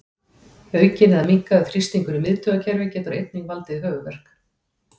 Aukinn eða minnkaður þrýstingur í miðtaugakerfi getur einnig valdið höfuðverk.